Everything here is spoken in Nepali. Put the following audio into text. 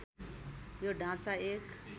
यो ढाँचा एक